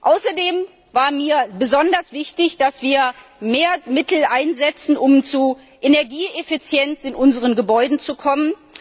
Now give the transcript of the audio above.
Außerdem war mir besonders wichtig, dass wir mehr Mittel einsetzen, um zu Energieeffizienz in unseren Gebäuden zu kommen.